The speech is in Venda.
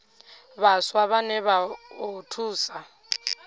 vhaswa vhane vha o thusa